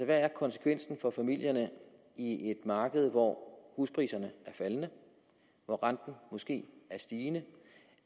hvad er konsekvensen for familierne i et marked hvor huspriserne er faldende hvor renten måske er stigende